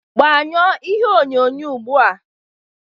Gbanyụọ ihe onyonyo ugbu a!